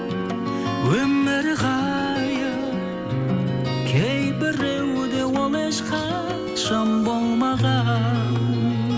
өмір ғайып кейбіреуде ол ешқашан болмаған